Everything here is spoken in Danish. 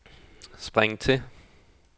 spring til